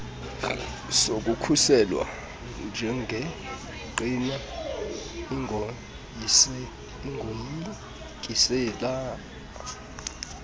sokukhuselwa njengengqina ungoyikisela